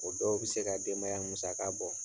O dɔw bɛ se ka denbaya musaka bɔ.